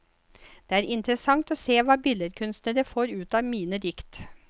Det er interessant å se hva billedkunstnere får ut av mine dikt.